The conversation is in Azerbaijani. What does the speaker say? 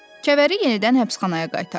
Kəvəri yenidən həbsxanaya qaytardılar.